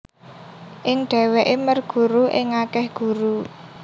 Ing dheweke merguru ing akeh guru